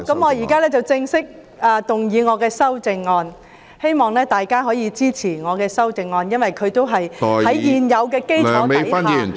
我現在正式動議我的修正案，希望大家可以支持我的修正案，因為它是在現有的基礎上提出......